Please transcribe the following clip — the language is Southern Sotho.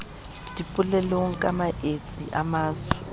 dipolelong ka maetsi a matso